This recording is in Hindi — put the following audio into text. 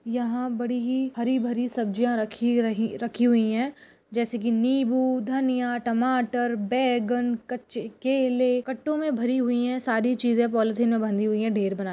यहा बड़ी ही हरी भरी सब्जीया रखी रही रखी हुई है जैसे की नींबू धनिया टमाटर बैगन कच्चे केले कट्टों मे भरी हुई है सारी चिजे पोलीथीन मे बंधी हुई है भेर भरा--